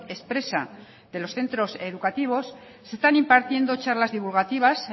expresa de los centros educativos se están impartiendo charlas divulgativas